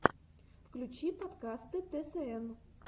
включи подкасты тсн